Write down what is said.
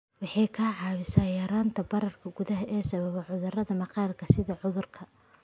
Waxay kaa caawinaysaa yaraynta bararka gudaha ee sababa cudurrada maqaarka sida cudurka